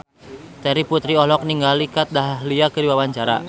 Terry Putri olohok ningali Kat Dahlia keur diwawancara